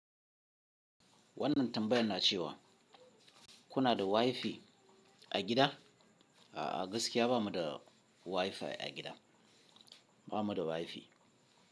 Wannan tambayar na cewa kuna da WiFi a gida? A'a gaskiya bamu da WiFi a gida, ba mu da WiFi.